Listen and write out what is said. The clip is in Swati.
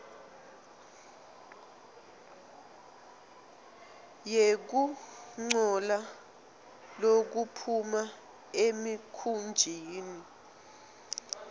yekungcola lokuphuma emikhunjini